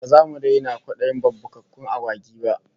Ba zamu daina kwadayin babbakakkun agwagi ba